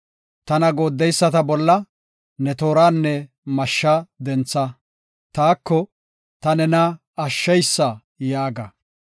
Tana gooddeyisata bolla ne tooranne mashsha dentha; taako “Ta nena ashsheysa” yaaga.